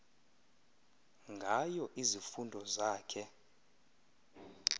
ngayo izifundo zakhe